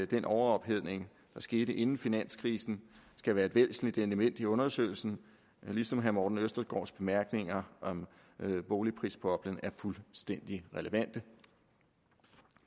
den overophedning der skete inden finanskrisen skal være et væsentligt element i undersøgelsen ligesom herre morten østergaards bemærkninger om boligprisboblen er fuldstændig relevante